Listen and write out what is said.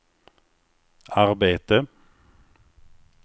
arbete